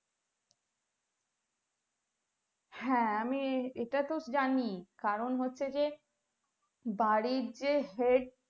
হ্যাঁ আমি এটা তো জানি কারণ হচ্ছে যে বাড়ির যে head